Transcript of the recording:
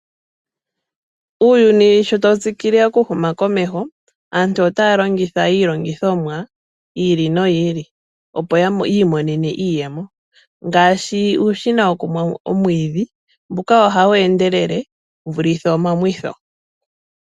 Uuyuni sho tawu tsikile okuhuma komeho aantu otaya longitha iilongithomwa yi ili noyi ili opo yi imonene iiyemo ngaashi uushina wokumwa omwiidhi mbuka ohawu endelele wu vule omamwitho.